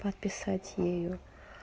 подписать её